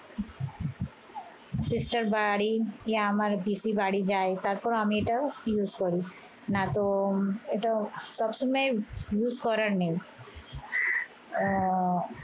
sister বাড়ি আমার পিসির বাড়ি যাই তারপর আমি এটা use করি না তো এটা সব সময় use করার নেই